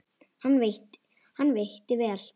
Hann veitti vel